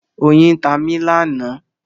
Oyin tá mí lánàá.